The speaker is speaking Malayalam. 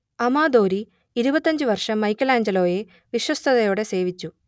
അമാദോരി ഇരുപത്തഞ്ചുവർഷം മൈക്കെലാഞ്ചലോയെ വിശ്വസ്തതയോടെ സേവിച്ചു